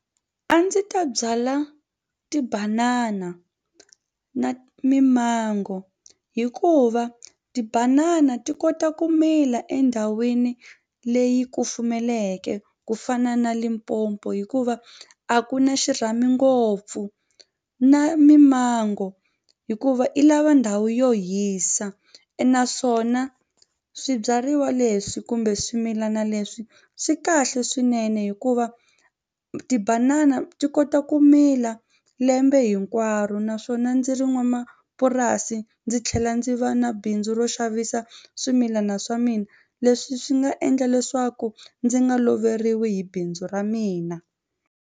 A ndzi ta byala tibanana na mimango hikuva tibanana ti kota ku mila endhawini leyi kufumeleke ku fana na Limpopo hikuva a ku na xirhami ngopfu na mimango hikuva i lava ndhawu yo hisa naswona swibyariwa leswi kumbe swimilana leswi swi kahle swinene hikuva tibanana ti kota ku mila lembe hinkwaro naswona ndzi ri n'wamapurasi ndzi tlhela ndzi va na bindzu ro xavisa swimilana swa mina leswi swi nga endla leswaku ndzi nga loveriwi hi bindzu ra mina.